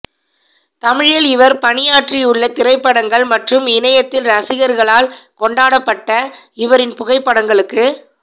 தமிழில் இவர் பணியாற்றியுள்ள திரைப்படங்கள் மற்றும் இணையத்தில் ரசிகர்களால் கொண்டாடப்பட்ட இவரின் புகைப்படங்களுக்கு